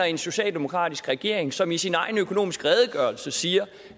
en socialdemokratisk regering som i sin egen økonomiske redegørelse siger